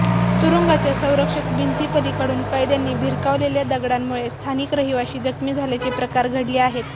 तुरुंगाच्या संरक्षक भिंतीपलीकडून कैद्यांनी भिरकावलेल्या दगडांमुळे स्थानिक रहिवासी जखमी झाल्याचे प्रकार घडले आहेत